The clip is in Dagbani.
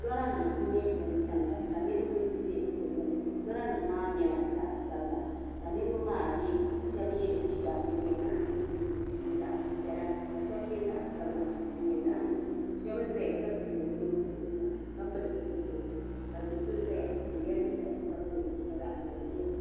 Lɔra nim nyɛla din tamya ka niribi ʒa digbuni lɔranim nyɛla zaɣi sabila. kashabi ye liiga din nyɛ zaɣi nuɣuso, ni zaɣi piɛla ni zaɣi sabila. din nyɛ zaɣi nuɣuso shabi n ʒaya ka wuɣi bɛ nuhi zuɣu saa ka pili zipiliti. ka so ʒaya ɔ yela liiga sabinli